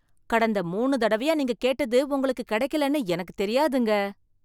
கடந்த மூணு தடவையா நீங்க கேட்டது உங்களுக்கு கிடைக்கலைன்னு எனக்குத் தெரியாதுங்க.